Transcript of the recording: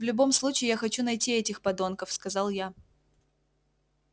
в любом случае я хочу найти этих подонков сказал я